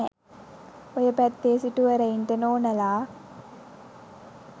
ඔය පැත්තේ සිටුවරයින්ට නෝනලා